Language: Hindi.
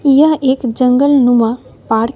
यह एक जंगलनुमा पार्क --